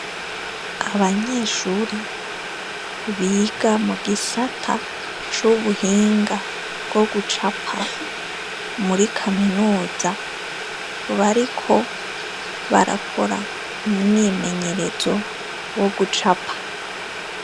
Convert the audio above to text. Abanyeshure biga mugisata c’ubuhinga bwo gucapa, muri Kaminuza barakora umwimenyerezo wo gucapa.